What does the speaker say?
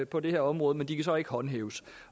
på det her område men de kan så ikke håndhæves